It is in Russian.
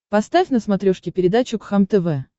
поставь на смотрешке передачу кхлм тв